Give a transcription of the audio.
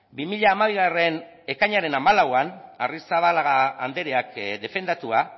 bi mila hamabigarrena ekainaren hamalauan arrizabalaga andereak defendatua